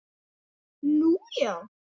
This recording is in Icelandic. Nú, já!